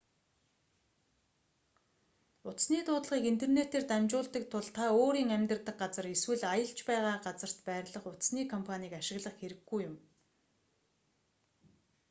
утасны дуудлагыг интернетээр дамжуулдаг тул та өөрийн амьдардаг газар эсвэл аялж байгаа газарт байрлах утасны компанийг ашиглах хэрэггүй юм